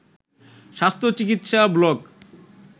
স্বাস্থ্য চিকিৎসা ব্লগ